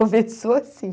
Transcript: Começou assim.